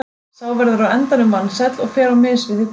Sá verður á endanum vansæll og fer á mis við hið góða líf.